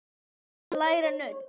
Það er að læra nudd.